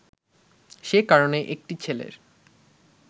সে কারণে একটি ছেলের